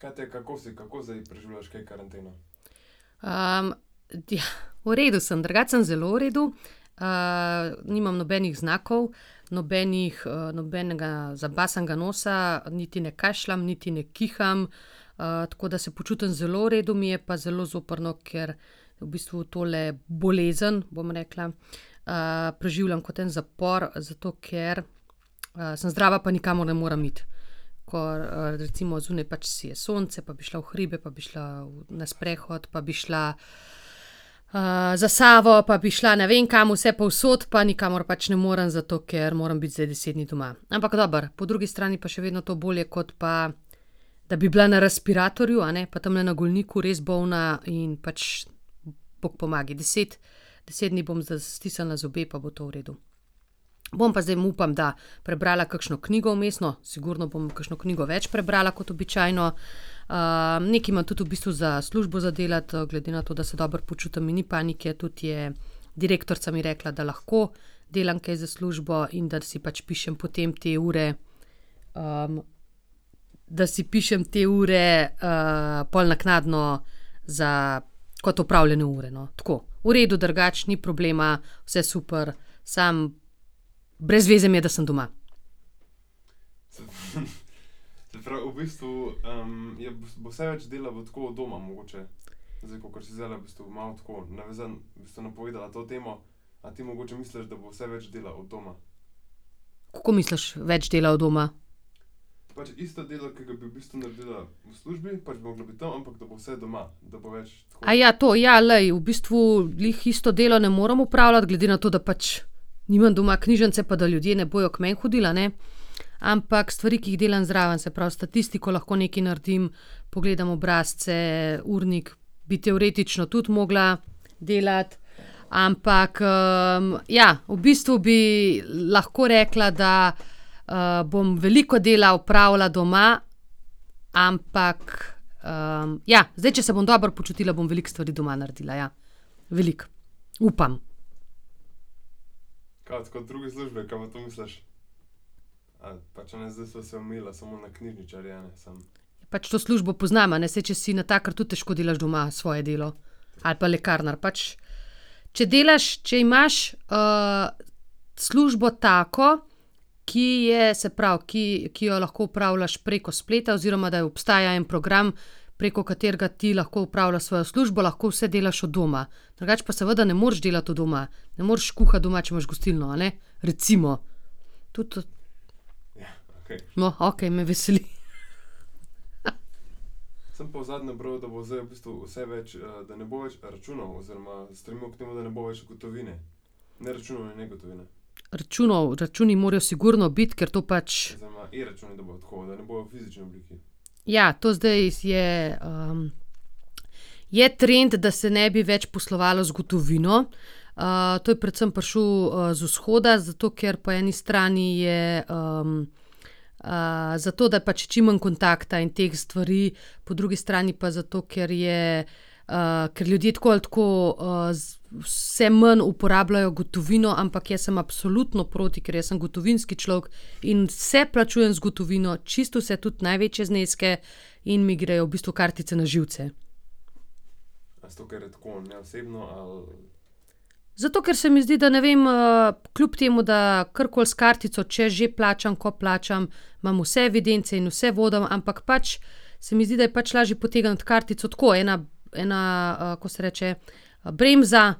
, v redu sem drugače, sem zelo v redu, nimam nobenih znakov, nobenih nobenega zabasanega nosa niti ne kašljam niti ne kiham, tako da se počutim zelo v redu, mi je pa zelo zoprno, ker v bistvu tole bolezen, bom rekla, preživljam kot en zapor, zato ker, sem zdrava, pa nikamor ne morem iti. Ko, recimo zunaj pač sije sonce pa bi šla v hribe pa šla na sprehod pa bi šla , za Savo pa bi šla ne vem kam vsepovsod, pa nikamor pač ne morem, zato ker moram biti zdaj deset dni doma. Ampak dobro, po drugi strani pa še vedno to bolje, kot pa da bi bila na respiratorju, a ne, pa tamle na Golniku res bolna in pač bog pomagaj, deset, deset dni bom stisnila zobe, pa bo to v redu. Bom pa zdaj, upam, da prebrala kakšno knjigo vmes, no, sigurno bom kakšno knjigo več prebrala kot običajno, nekaj imam tudi v bistvu za službo za delati, glede na to, da se dobro počutim, mi ni panike, tudi je direktorica mi rekla, da lahko delam kaj za službo in da si pač pišem potem te ure, da si pišem te ure, pol naknadno za, kot opravljene ure, no, tako. V redu drugače, ni problema, vse super, samo brez veze mi je, da sem doma. Kako misliš, več dela od doma? to, ja, glej, v bistvu glih isto dela ne morem opravljati, glede na to, da pač nimam doma knjižnice pa da ljudje ne bojo k meni hodili, a ne, ampak stvari, ki jih delam zraven, se pravi, statistiko lahko nekaj naredim, pogledam obrazce, urnik bi teoretično tudi mogla delati, ampak, ja, v bistvu bi lahko rekla, da bom veliko dela opravila doma, ampak, ja, zdaj če se bom dobro počutila, bom veliko stvari doma naredila, ja. Veliko, upam. Pač to službo poznam, a ne, saj če si natakar, tudi težko delaš doma svoje delo, ali pa lekarnar, pač če delaš, če imaš, službo tako, ki je, se pravi, ki, ki jo lahko opravljaš preko spleta oziroma da obstaja en program, preko katerega ti lahko opravljaš svojo službo, lahko vse delaš od doma. Drugače pa seveda ne moreš delati od doma. Ne moreš kuhati doma, če imaš gostilno, a ne. Recimo, tudi ... No, okej, me veseli. Računov, računi morajo sigurno biti, ker to pač ... Ja, to zdaj je, ... Je trend, da se ne bi več poslovalo z gotovino, to je predvsem prišel, z vzhoda, zato ker po eni strani je zato, da pač čim manj kontakta in teh stvari, po drugi strani pa zato, ker je, ker ljudje tako ali tako, vse manj uporabljajo gotovino, ampak jaz sem absolutno proti, ker jaz sem gotovinski človek in vse plačujem z gotovino, čisto vse, tudi največje zneske, in mi grejo v bistvu kartice na živce. Zato, ker se mi zdi, da, ne vem, kljub temu, da karkoli s kartico, če že plačam, ko plačam, imam vse evidence in vse vodim, ampak pač se mi zdi, da je pač lažje potegniti kartico tako, ena, ena, kako se reče, bremza,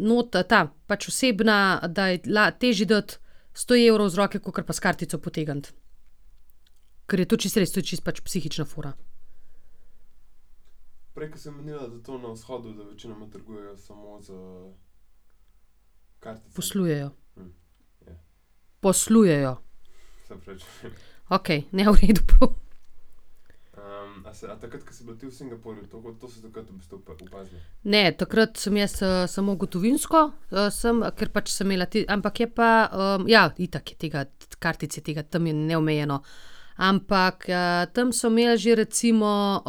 nota, ta, pač osebna, ta je težji dati sto evrov iz roke kakor pa s kartico potegniti. Ker je to čisto res, to je čisto pač psihična fora. Poslujejo. Poslujejo. Okej, ne, v redu bo. Ne, takrat sem jaz, samo gotovinsko, sem, ker pač sem imela ampak je pa, ja, itak je tega, tudi kartic je tega, tam je neomejeno. Ampak, tam so imeli že recimo,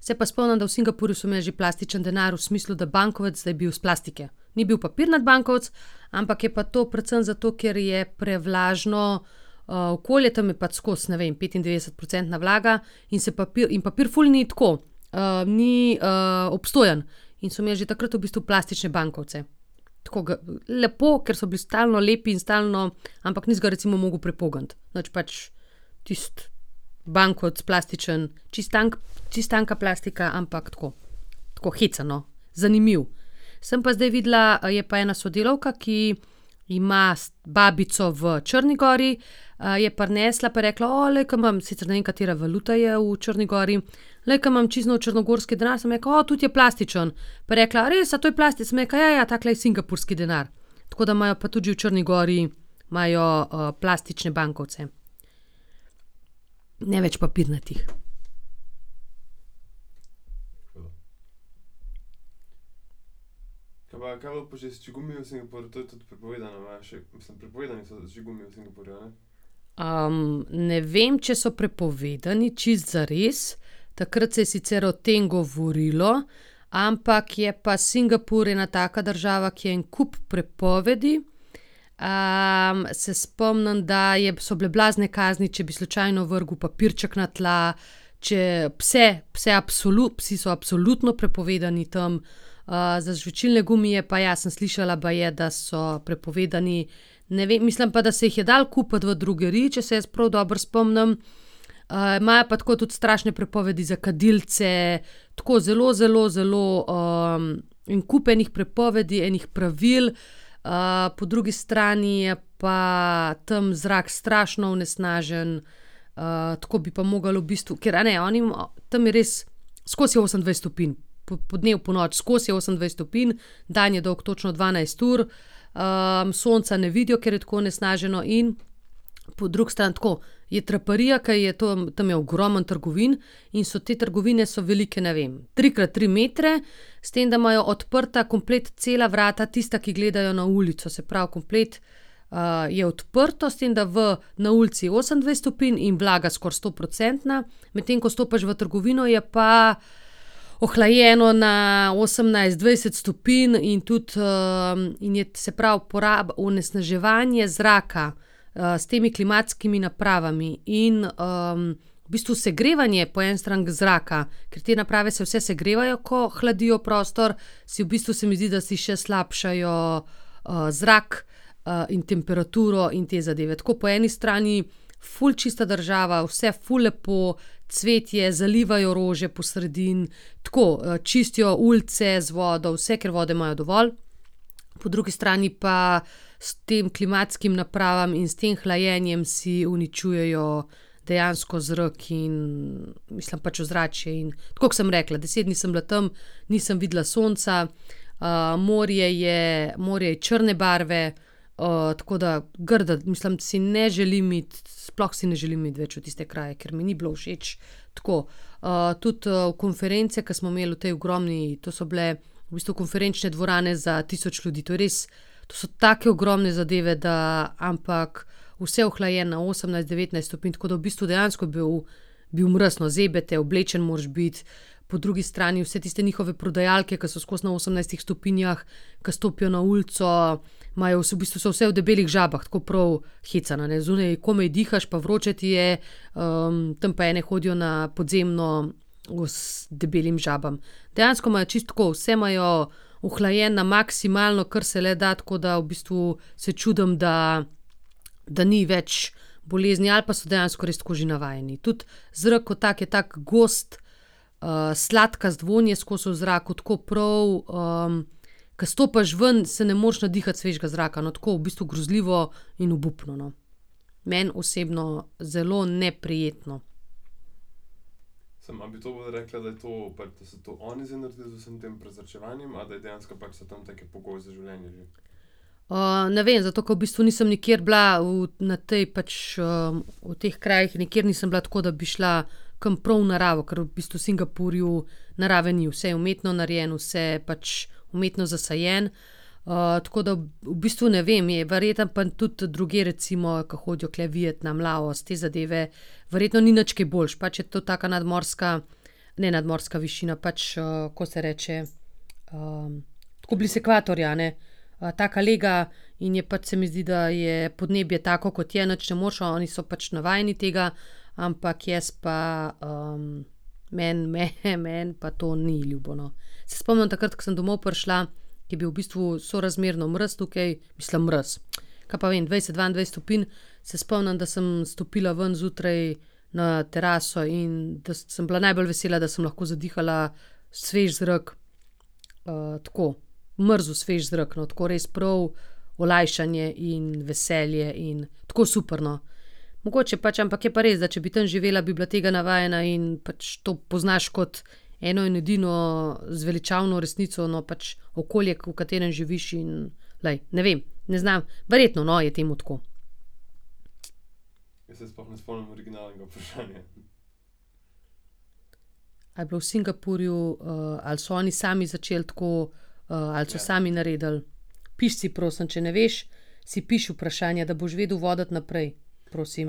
se pa spomnim, da v Singapurju so imeli že plastični denar, v smislu, da bankovec, da je bil iz plastike. Ni bil papirnati bankovec, ampak je pa to predvsem zato, ker je prevlažno, okolje, tam pa je pač skozi, ne vem, petindevetdesetprocentna vlaga, in se in papir ful ni tako, ni, obstojen. In so imeli že takrat v bistvu plastične bankovce. Tako ke, lepo, ker so bili stalno lepi in stalno ... Ampak nisi ga recimo mogel prepogniti, nič pač. Tisti bankovec plastičen, čisto čisto tanka plastika, ampak tako. Tako hecen, no, zanimivo. Sem pa zdaj videla, je pa ena sodelavka, ki ima babico v Črni gori, je prinesla pa je rekla: glej, ke imam ..." Sicer ne vem, katera valuta je v Črni gori. "Glej, ke imam čisto nov črnogorski denar." Sem rekla: tudi je plastičen." Pa je rekla: "A res, a to je Sem rekla: "Ja, ja, takle je singapurski denar." Tako da imajo pa tudi že v Črni gori, imajo, plastične bankovce. Ne več papirnatih. ne vem, če so prepovedani čisto zares, takrat se je sicer o tem govorilo, ampak je pa Singapur ena taka država, ki je en kup prepovedi, se spomnim, da je, so bile blazne kazni, če bi slučajno vrgel papirček na tla, če pse, pse psi so absolutno prepovedani tam, za žvečilne gumije pa ja, sem slišala, baje, da so prepovedani, ne vem, mislim pa, da se jih je dalo kupiti v drogeriji, če se jaz prav dobro spomnim. imajo pa tako tudi strašne prepovedi za kadilce, tako zelo, zelo, zelo, en kup enih prepovedi, enih pravil, po drugi strani je pa tam zrak strašno onesnažen, tako bi pa mogli v bistvu, ker, a ne, oni tam je res, skozi je osemindvajset stopinj. podnevi, ponoči, skozi je osemindvajset stopinj, dan je dolgo točno dvanajst ur, sonca ne vidijo, ker je tako onesnaženo, in po drugi strani tako je traparija, ke je to, tam je ogromno trgovin, in so te trgovine, so velike, ne vem, trikrat tri metre, s tem, da imajo odprta komplet cela vrata, tista, ki gledajo na ulico, se pravi, komplet, je odprto, s tem da v, na ulici je osemindvajset stopinj in vlaga skoraj stoprocentna, medtem ko stopiš v trgovino, je pa ohlajeno na osemnajst, dvajset stopinj in tudi, in je, se pravi, onesnaževanje zraka, s temi klimatskimi napravami in, ... V bistvu segrevanje po eni strani zraka, ker te naprave se vse segrevajo, ko hladijo prostor, si v bistvu, se mi zdi, da si še slabšajo, zrak, in temperaturo in te zadeve. Tako, po eni strani ful čista država, vse ful lepo, cvetje, zalivajo rože po sredini, tako, čistijo ulice z vodo, vse, ker vode imajo dovolj, po drugi strani pa s temi klimatskimi napravami in s tem hlajenjem si uničujejo dejansko zrak in, mislim, pač ozračje in, tako ke sem rekla, deset dni sem bila tam, nisem videla sonca, morje je, morje je črne barve, tako da, grda, mislim, si ne želim iti, sploh si ne želim iti več v tiste kraje, ker mi ni bilo všeč. Tako, tudi, konference, ke smo imeli v tej ogromni, to so bile v bistvu konferenčne dvorane za tisoč ljudi, to je res, to so take ogromne zadeve, da ... Ampak vse ohlajeno na osemnajst, devetnajst stopinj, tako da v bistvu dejansko je bil, bil mraz, no, zebe te, oblečen moraš biti, po drugi strani vse tiste njihove prodajalke, ki so skozi na osemnajstih stopinjah, ke stopijo na ulico, imajo v bistvu so vse v debelih žabah, tako prav hecno, a ne, zunaj komaj dihaš pa vroče ti je, tam pa ene hodijo na podzemno v debelimi žabami. Dejansko imajo čisto tako, vse imajo ohlajeno na maksimalno, kar se le da, tako da v bistvu se čudim, da, da ni več bolezni, ali pa so dejansko res tako že navajeni. Tudi zrak kot tak je tako gost, sladkast, vonj je skozi v zraku, tako prav, ke stopiš ven, se ne moreš nadihati svežega zraka, no, tako, v bistvu grozljivo in obupno, no. Meni osebno zelo neprijetno. ne vem, zato ke v bistvu nisem nikjer bila v, na tej pač, v teh krajih, nikjer nisem bila tako, da bi šla kam prav v naravo, ke v bistvu v Singapurju narave ni, vse je umetno narejeno, vse je pač umetno zasajeno. tako da v bistvu ne vem, je verjetno pa tudi drugje, recimo ke hodijo tule Vietnam, Laos, te zadeve, verjetno ni nič kaj boljše, pač je to taka nadmorska, ne nadmorska višina, pač, kako se reče, tako blizu ekvatorja, a ne, taka lega, in je pač, se mi zdi, da je podnebje tako, kot je, nič ne moreš, oni so pač navajeni tega, ampak jaz pa, meni, meni pa to ni ljubo, no. Se spomnim takrat, ke sem domov prišla, ke je bil v bistvu sorazmerno mraz tukaj, mislim, mraz, kaj pa vem, dvajset, dvaindvajset stopinj, se spomnim, da sem stopila ven zjutraj na teraso in sem bila najbolj vesela, da sem lahko zadihala svež zrak. tako, mrzel, svež zrak, no, tako res prav olajšanje in veselje in tako super, no. Mogoče pač, ampak je pa res, da če bi tam živela, bi bila tega navajena, in pač to poznaš, kot eno in edino zveličavno resnico, no, pač okolje, v katerem živiš, in glej, ne vem, ne znam, verjetno, no, je temu tako. Ali je bilo v Singapurju, ali so oni sami začeli tako, ali so sami naredili? Piši si, prosim, če ne veš, si piši vprašanja, da boš vedel voditi naprej, prosim.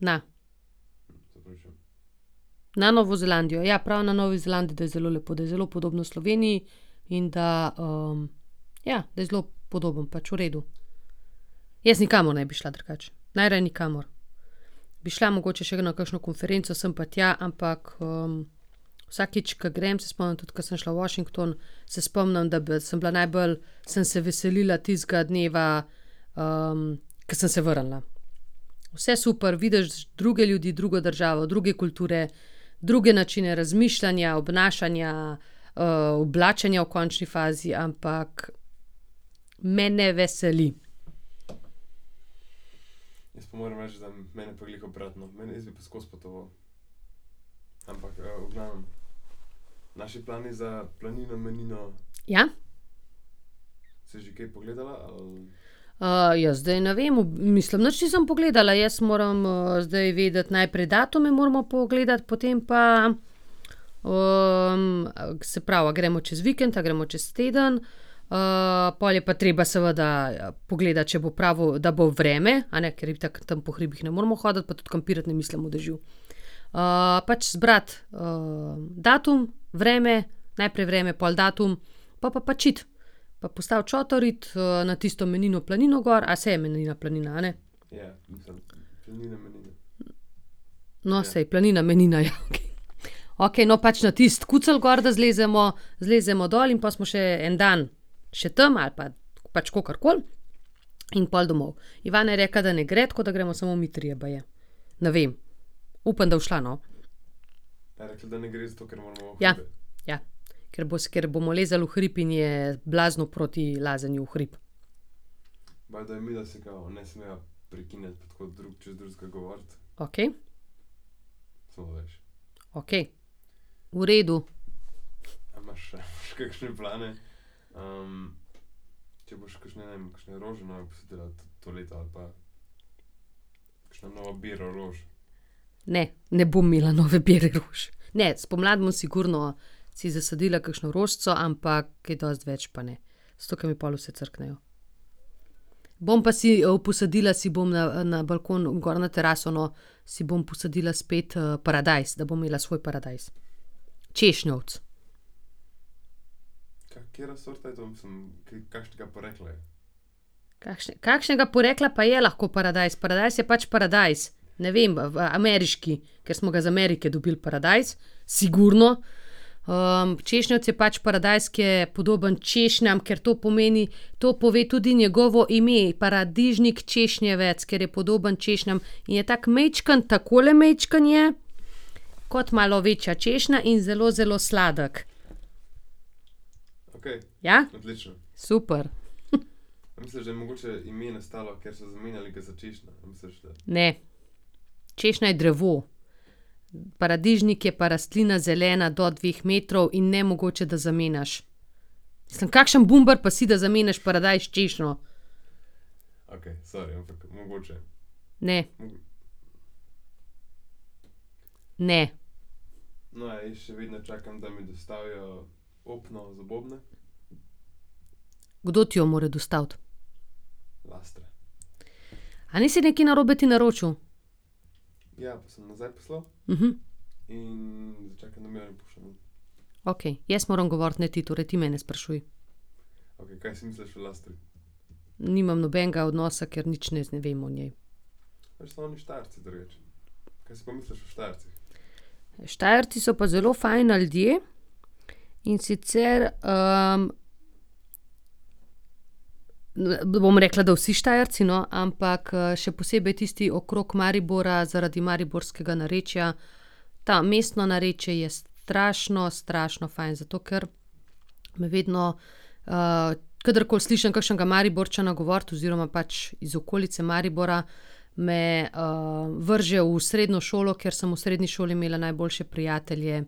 Na. Na Novo Zelandijo, ja, prav na Novi Zelandiji, da je zelo lepo, da je zelo podobno Sloveniji in da, ja, da je zelo podobno, pač v redu. Jaz nikamor ne bi šla drugače. Najraje nikamor. Bi šla mogoče še na kakšno konferenco sem pa tja, ampak, vsakič, ke grem, se spomnim, tudi ke sem šla v Washington, se spomnim, da je bila, sem bila najbolj, sem se veselila tistega dneva, ko sem se vrnila. Vse super, vidiš druge ljudi, drugo državo, druge kulture, druge načine razmišljanja, obnašanja, oblačenja v končni fazi, ampak me ne veseli. Ja? ja zdaj ne vem, mislim, nič nisem pogledala, jaz moram, zdaj vedeti najprej datume, moramo pogledati, potem pa se pravi, a gremo čez vikend, a gremo čez teden, pol je pa treba, seveda pogledati, če bo pravo, da bo vreme, a ne, ker itak tam po hribih ne moremo hoditi pa tudi kampirati ne mislim v dežju. pač zbrati, datum, vreme, najprej vreme, pol datum, pol pa pač iti. Pa postaviti šotor, iti na tisto Menino planino gor, a saj je Menina planina, a ne? No, saj, planina Menina, je okej. Okej, no, pač na tisti kucelj gor, da zlezemo, zlezemo dol in pol smo še en dan še tam ali pa pač kakor koli in pol domov. Ivana je rekla, da ne gre, tako da gremo samo mi trije baje. Ne vem, upam, da bo šla, no. Ja, ja. Ker bo ker bomo lezli v hrib in je blazno proti lazenju v hrib. Okej. Okej. V redu. Ne, ne bom imela nove bere rož. Ne, spomladi bom sigurno si zasadila kakšno rožico, ampak kaj dosti več pa ne. Zato, ke mi pol vse crknejo. Bom pa si posadila si bom na, na balkonu, gor na teraso, no, si bom posadila spet, paradajz, da bom imela svoj paradajz. Češnjevec. Kakšne, kakšnega porekla pa je lahko paradajz, paradajz je pač paradajz. Ne vem, v, ameriški, ker smo ga iz Amerike dobili, paradajz, sigurno, češnjevec je pač paradajz, ki je podoben češnjam, ker to pomeni, to pove tudi njegovo ime, paradižnik češnjevec, ker je podoben češnjam in je tako majčken, takole majčken je kot malo večja češnja in zelo, zelo sladek. Ja? Super, . Ne. Češnja je drevo. Paradižnik je pa rastlina, zelena, do dveh metrov in nemogoče, da zamenjaš. Mislim, kakšen bumbar pa si, da zamenjaš paradajz s češnjo. Ne. Ne. Kdo ti jo more dostaviti? A nisi nekaj narobe ti naročil? Okej, jaz moram govoriti, ne ti, torej ti mene sprašuj. Nimam nobenega odnosa, ker nič ne ne vem o njej. Štajerci so pa zelo fajn ljudje, in sicer, ... ne bom rekla, da vsi Štajerci, no, ampak, še posebej tisti okrog Maribora zaradi mariborskega narečja, ta, mestno narečje, je strašno, strašno fajn, zato ker me vedno, kadarkoli slišim kakšnega Mariborčana govoriti oziroma pač iz okolice Maribora, me, vrže v srednjo šolo, ker sem v srednji šoli imela najboljše prijatelje,